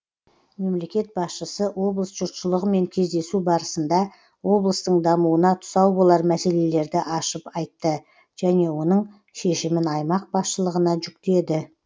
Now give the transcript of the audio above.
мемлекет басшысы облыс жұртшылығымен кездесу барысында облыстың дамуына тұсау болар мәселелерді ашып айтты және оның шешімін аймақ басшылығына жүктеді